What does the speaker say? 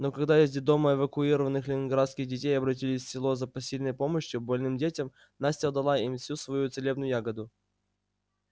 но когда из детдома эвакуированных ленинградских детей обратились в село за посильной помощью больным детям настя отдала им всю свою целебную ягоду